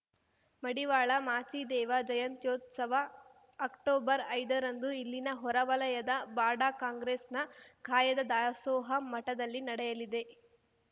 ಮಡಿವಾಳ ಮಾಚಿದೇವ ಜಯಂತ್ಯೋತ್ಸವ ಅಕ್ಟೊಬರ್ಐದರಂದು ಇಲ್ಲಿನ ಹೊರ ವಲಯದ ಬಾಡಾ ಕಾಂಗ್ರೆಸ್‌ನ ಕಾಯದ ದಾಸೋಹ ಮಠದಲ್ಲಿ ನಡೆಯಲಿದೆ